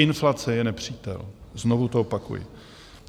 Inflace je nepřítel, znovu to opakuji.